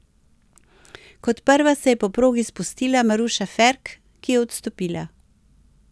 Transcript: Kot prva se je po progi spustila Maruša Ferk, ki je odstopila.